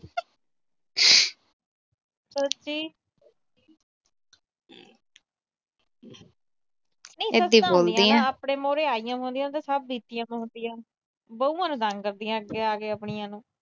ਆਪਣੇ ਮੂਹਰੇ ਆਈਆਂ ਹੁੰਦੀਆਂ ਤਾਂ ਸਭ ਬੀਤੀਆਂ ਵੀਆਂ ਹੁੰਦੀਆਂ। ਬਹੂਆਂ ਨੂੰ ਤੰਗ ਕਰਦੀਆਂ ਅੱਗੇ ਆ ਕੇ ਆਪਣੀਆਂ ਨੂੰ।